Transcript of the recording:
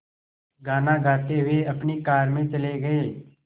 गाना गाते हुए अपनी कार में चले गए